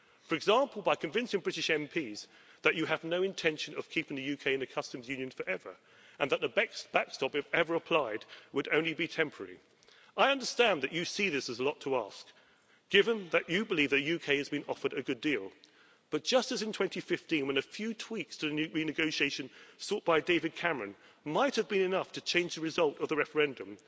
For example, you could convince British MPs that you have no intention of keeping the UK in the customs union forever and that the backstop, if ever applied, would only be temporary. I understand that you see this as a lot to ask, given that you believe the UK has been offered a good deal, but just as in 2015 when a few tweaks to the renegotiation sought by David Cameron might have been enough to change the result of the referendum,